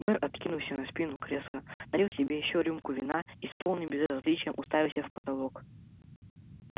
мэр откинулся на спину кресла налил себе ещё рюмку вина и с полным безразличием уставился в потолок